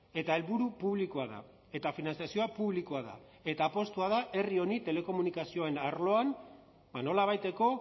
eta helburu publikoa da eta finantzazioa publikoa da eta apustua da herri honi telekomunikazioen arloan nolabaiteko